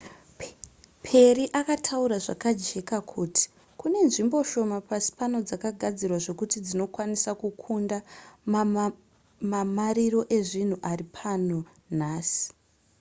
perry akataura zvakajeka kuti kune nzvimbo shoma pasi pano dzakagadzirwa zvekuti dzinokwanisa kukunda mamariro ezvinhu ari pano nhasi